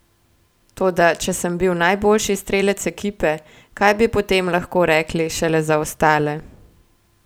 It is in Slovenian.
Toda če sem bil najboljši strelec ekipe, kaj bi potem lahko rekli šele za ostale?